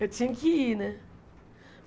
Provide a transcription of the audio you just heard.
Eu tinha que ir, né?